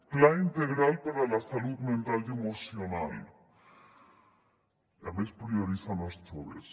pla integral per a la salut mental i emocional i a més prioritzant els joves